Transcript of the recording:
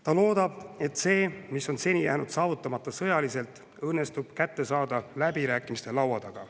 Ta loodab, et see, mis on seni jäänud saavutamata sõjaliselt, õnnestub kätte saada läbirääkimistelaua taga.